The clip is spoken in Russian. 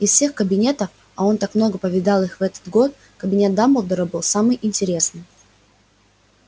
из всех кабинетов а он так много повидал их в этот год кабинет дамблдора был самый интересный